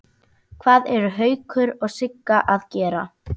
Hvað eru Haukur og Sigga að gera?